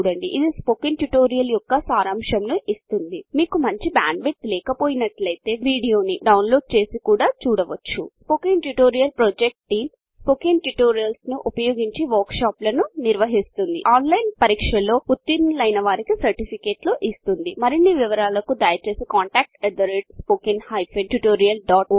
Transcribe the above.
ఇది spoken tutorial యొక్క సరంశంను ఇస్తుంది మీకు మంచి బ్యాండ్ విడ్త్ లేక పొతే వీడియో ని డౌన్లోడ్ చేసి కూడా చూడవచ్చు spoken tutorial project team spoken tutorials ని ఉపయోగించి వర్క్ షాప్లను నిర్వహిస్తుంది ఆన్లైన్ పరీక్షలు ఉతిర్నులైన వారికీ సర్టిఫికెట్లు ఇస్తుంది మరిన్ని వివరాలకు దయచేసి contactspoken tutorial